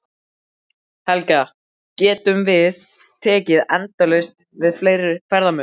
Helga, getum við tekið endalaust við fleiri ferðamönnum?